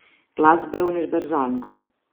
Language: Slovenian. Glasba je univerzalna.